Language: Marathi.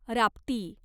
राप्ती